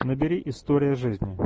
набери история жизни